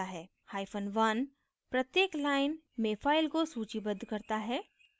1 hyphen one प्रत्येक line में file को सूचीबद्ध करता है